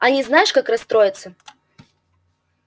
они знаешь как расстроятся